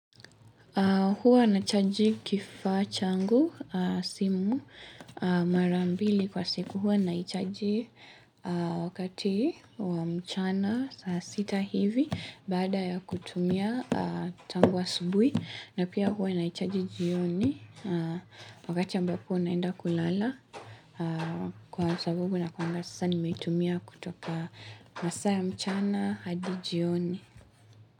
Huwa nachaji kifaa changu simu mara mbili kwa siku. Huwa nachaji wakati wa mchana saa sita hivi bada ya kutumia tangu asubui na pia hwa nachaji jioni wakati ambapo naenda kulala kwa sababu na kuanga sasa nimetumia kutoka masaa mchana hadi jioni.